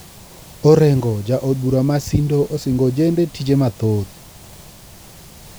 Orengo ja-od-bura ma sindo osingo ojende tije mathoth